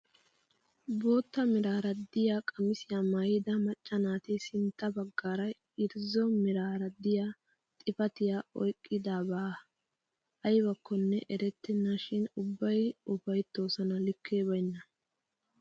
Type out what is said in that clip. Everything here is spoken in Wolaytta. Bootta meraara de'iyaa qamisiyaa maayida macca naati sintta baggaara irzzo meraara de'iyaa xifatiyaa oyqqidabaa aybakkone eretenna shin ubbay ufayttoosona likkee baynnan!